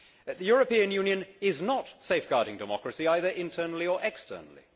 The European Union is not safeguarding democracy, either internally or externally.